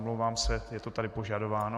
Omlouvám se, je to tady požadováno.